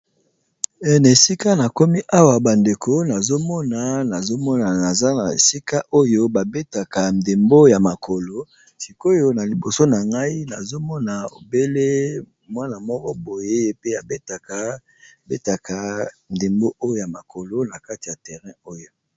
Na esika na komi awa bandeko, nazo mona, nazo mona naza na esika oyo babetaka ndembo ya makolo. Sikoyo na liboso na ngai, nazo mona obele mwana moko boye pe abetaka ndembo oyo ya makolo na kati ya terrain oyo.